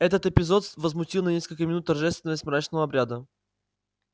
этот эпизод возмутил на несколько минут торжественность мрачного обряда